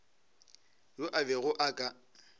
yo a bego a ka